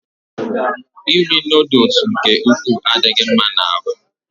Iri noodles nke ukwuu adịghị mma n'ahụ